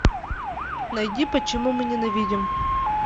найди почему мы ненавидим